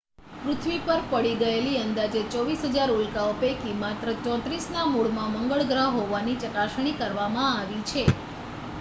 પૃથ્વી પર પડી ગયેલી અંદાજે 24,000 ઉલ્કાઓ પૈકી માત્ર 34ના મૂળમાં મંગળ ગ્રહ હોવાની ચકાસણી કરવામાં આવી છે